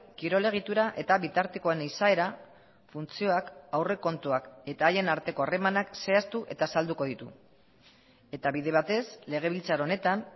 kirol egitura eta bitartekoen izaera funtzioak aurrekontuak eta haien arteko harremanak zehaztu eta azalduko ditu eta bide batez legebiltzar honetan